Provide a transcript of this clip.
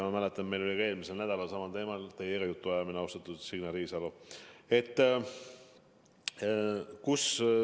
Ma mäletan, et meil oli ka eelmisel nädalal samal teemal teiega jutuajamine, austatud Signe Riisalo.